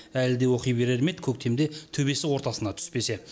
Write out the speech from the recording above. әлі де оқи берер ме еді көктемде төбесі ортасына түспесе